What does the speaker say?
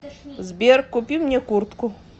сбер купи мне куртку